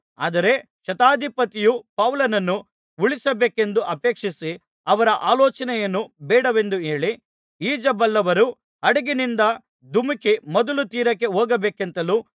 ಆದರೆ ಶತಾಧಿಪತಿಯು ಪೌಲನನ್ನು ಉಳಿಸಬೇಕೆಂದು ಅಪೇಕ್ಷಿಸಿ ಅವರ ಆಲೋಚನೆಯನ್ನು ಬೇಡವೆಂದು ಹೇಳಿ ಈಜಬಲ್ಲವರು ಹಡಗಿನಿಂದ ಧುಮುಕಿ ಮೊದಲು ತೀರಕ್ಕೆ ಹೋಗಬೇಕೆಂತಲೂ